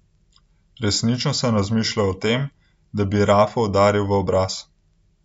Resnično sem razmišljal o tem, da bi Rafo udaril v obraz.